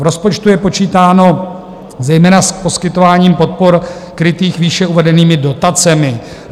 V rozpočtu je počítáno zejména s poskytováním podpor krytých výše uvedenými dotacemi.